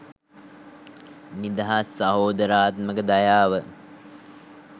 නිදහස් සහෝදරාත්මක දයාව